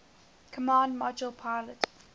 command module pilot